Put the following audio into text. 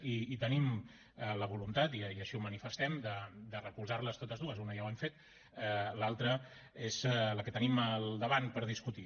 i tenim la voluntat i així ho manifestem de recolzar les totes dues una ja ho hem fet l’altra és la que tenim al davant per discutir